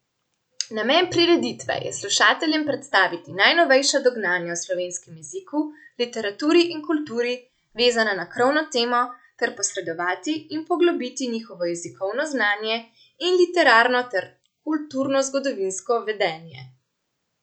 Namen prireditve je slušateljem predstaviti najnovejša dognanja o slovenskem jeziku, literaturi in kulturi, vezana na krovno temo, ter posredovati in poglobiti njihovo jezikovno znanje in literarno ter kulturnozgodovinsko vedenje.